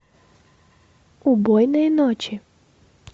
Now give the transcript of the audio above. убойные ночи